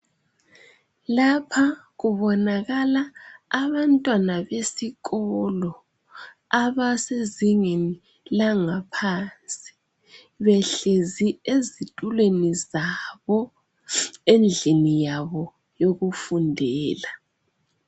Lapha kubonakala abantwana besikolo abasezingeni langaphansi behlezi ezitulweni zabo endlini yabo yokufundela.